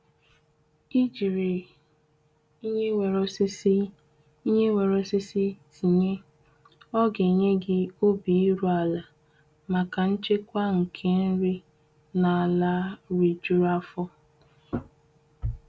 Ijiri ihe nwere osisi ihe nwere osisi tinye oga enye gị obi iru ala maka nchekwa nke nri na ala ri jụrụ afọ.